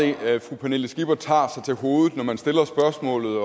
fru pernille skipper tager sig til hovedet når man stiller spørgsmålet